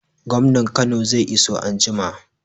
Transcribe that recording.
Gwamnan Kano zai iso anjima